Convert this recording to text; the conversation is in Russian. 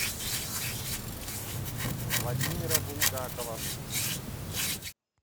владимира булгакова